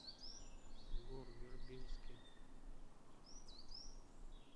гор вербински